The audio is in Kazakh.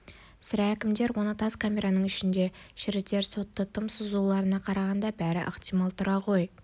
сірә әкімдер оны осы тас камераның ішінде шірітер сотты тым созуларына қарағанда бәрі ықтимал тұра ғой